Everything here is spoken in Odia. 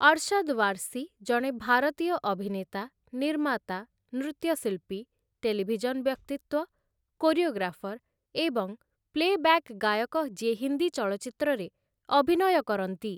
ଅରଶଦ ୱାର୍ସି ଜଣେ ଭାରତୀୟ ଅଭିନେତା, ନିର୍ମାତା, ନୃତ୍ୟଶିଳ୍ପୀ, ଟେଲିଭିଜନ୍‌ ବ୍ୟକ୍ତିତ୍ୱ, କୋରିଓଗ୍ରାଫର ଏବଂ ପ୍ଲେବ୍ୟାକ୍ ଗାୟକ ଯିଏ ହିନ୍ଦୀ ଚଳଚ୍ଚିତ୍ରରେ ଅଭିନୟ କରନ୍ତି ।